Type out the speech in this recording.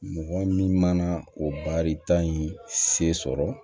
Mɔgɔ min mana o baarita in se sɔrɔ